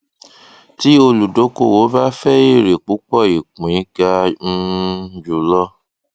tí olùdókòwò bá fẹ èrè púpọ ìpín ga um jùlọ